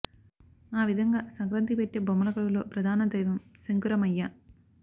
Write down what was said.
ఆ విధంగా సంక్రాంతికి పెట్టే బొమ్మల కొలువులో ప్రధాన దైవం సంకురమయ్య